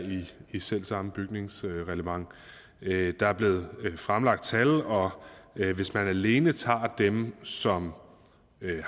i selv samme bygningsreglement der er blevet fremlagt tal og hvis man alene tager dem som